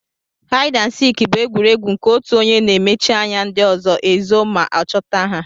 Haid and sik bu egwuregwu nke otụ onye na emechi anya ndi ọzọ ezo ma ọchọta ha.